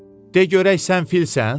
De görək sən filsan?